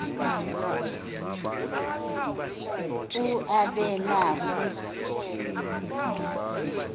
u aabe nakwi